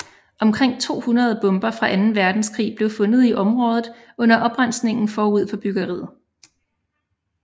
Omkring 200 bomber fra Anden Verdenskrig blev fundet i området under oprensningen forud for byggeriet